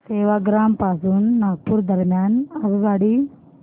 सेवाग्राम पासून नागपूर दरम्यान आगगाडी